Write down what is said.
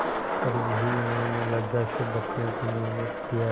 पर यह भी उन्होंने लज्जा से बचने के निमित्त किया